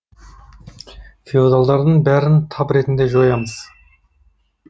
феодалдардың бәрін тап ретінде жоямыз